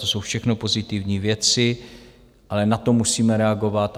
To jsou všechno pozitivní věci, ale na to musíme reagovat.